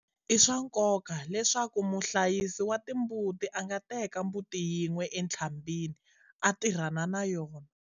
I swa nkoka leswaku muhlayisi wa timbuti a nga teka mbuti yin'we entlhambhini a tirhana na yona.